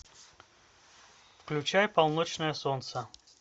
включай полночное солнце